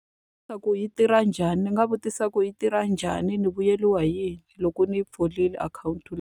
yi tirha njhani, ndzi nga vutisa ku yi tirha njhani? Ni vuyeriwa hi yini loko ni yi pfurile akhawunti leyi?